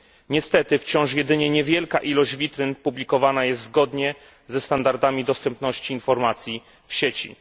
Niestety wciąż jedynie niewielka ilość witryn publikowana jest zgodnie ze standardami dostępności informacji w sieci.